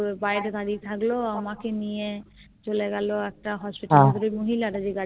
বাইরে দাঁড়িয়ে থাকলো আমাকে নিয়ে চলে গেলো একটা Hospital করে মহিলারা